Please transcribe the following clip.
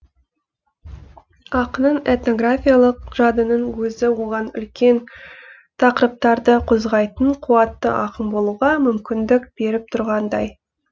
ақынның этнографиялық жадының өзі оған үлкен тақырыптарды қозғайтын қуатты ақын болуға мүмкіндік беріп тұрғандай